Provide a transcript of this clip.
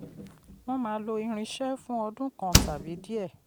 wọn máa lò irinṣẹ́ fún ọdún kan tàbí díẹ̀.